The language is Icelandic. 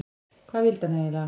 Hvað vildi hann eiginlega?